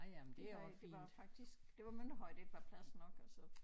Det var det var jo faktisk det var Mønterhøj der ikke var plads nok og så